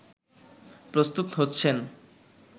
প্রস্তুত হচ্ছেন